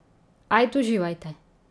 Ajd, uživajte.